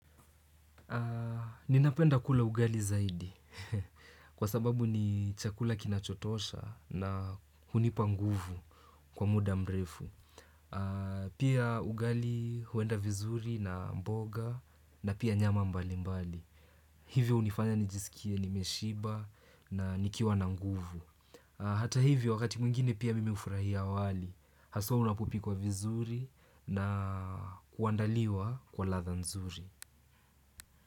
Ninapenda kula ugali zaidi kwa sababu ni chakula kinachotosha na hunipa nguvu kwa muda mrefu. Pia ugali huenda vizuri na mboga na pia nyama mbalimbali. Hivyo hunifanya nijiskie nimeshiba na nikiwa na nguvu. Hata hivyo wakati mwingine pia mimi hufurahia wali. Haswa unapopikwa vizuri na kuandaliwa kwa ladha nzuri.